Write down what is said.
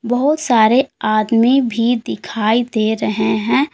बहुत सारे आदमी भी दिखाई दे रहे हैं।